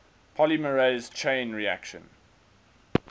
polymerase chain reaction